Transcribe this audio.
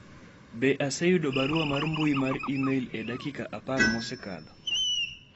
be aseyudo barua mar mbui mar email e dakika apar ma osekadho